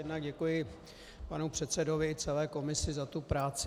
Jednak děkuji panu předsedovi i celé komisi za tu práci.